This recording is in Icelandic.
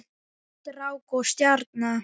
Hvít rák og stjarna